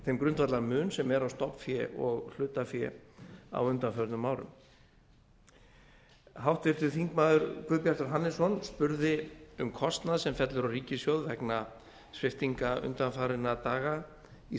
þeim grundvallar mun sem er á stofnfé og hlutafé á undanförnum árum háttvirtir þingmenn guðbjartur hannesson spurði um kostnað sem fellur á ríkissjóð vegna sviptinga undanfarinna daga í